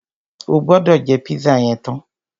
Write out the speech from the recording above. O gbọ́dọ̀ jẹ́ pízà yẹn tán!